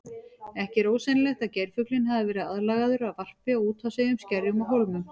Ekki er ósennilegt að geirfuglinn hafi verið aðlagaður að varpi á úthafseyjum, skerjum og hólmum.